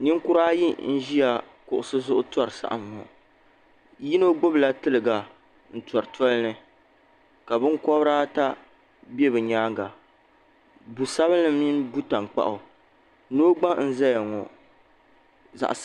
Ninkura ayi ʒi kuɣisi zuɣu n-tɔri saɣim ŋɔ. Yino gbibila tiliga n-tɔri toli ni ka binkɔbiri ata be bɛ nyaaŋga bu' sabilinli mini bu' taŋkpaɣu noo gba n-zaya ŋɔ.